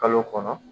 Kalo kɔnɔ